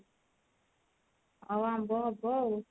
ଆଉ ଆମ୍ବ ହବ ଆଉ